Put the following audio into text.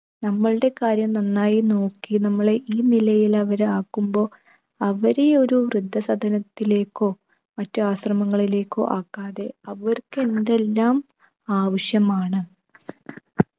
നമ്മളുടെ കാര്യം നന്നായി നോക്കി നമ്മളെ ഈ നിലയിൽ അവർ ആക്കുമ്പോ അവരെ ഒരു വൃദ്ധസദനത്തിലേക്കോ മറ്റ് ആശ്രമങ്ങളിലേക്കോ ആക്കാതെ അവർക്കെന്തെല്ലാം ആവശ്യമാണ്